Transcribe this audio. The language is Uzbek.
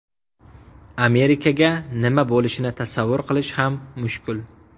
Amerikaga nima bo‘lishini tasavvur qilish ham mushkul.